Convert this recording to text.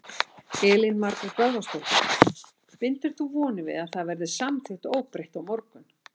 Elín Margrét Böðvarsdóttir: Bindur þú vonir við að það verði samþykkt óbreytt á morgun?